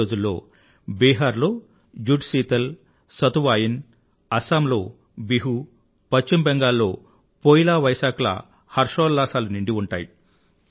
అదే రోజుల్లో బీహార్ లో జుడ్ శీతల్ సతువాయిన్ అస్సాం లో బిహు పశ్చిమ బెంగాల్ లో పోయిలా వైశాఖ్ ల హర్షోల్లాసాలు నిండి ఉంటాయి